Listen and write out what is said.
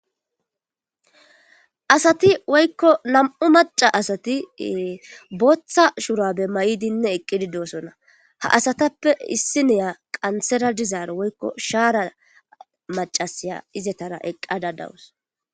Asati woykko nam'u maca asati booththa shurabe ma'idinne eqqidi dosona ha asatappe issi neya qantsera dizaaro woykko shaara macasaya izetara eqqada dawus.